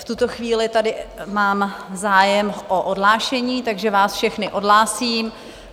V tuto chvíli tady mám zájem o odhlášení, takže vás všechny odhlásím.